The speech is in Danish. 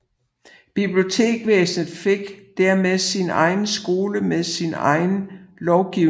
Biblioteksvæsenet fik dermed sin egen skole med sin egen lovgivning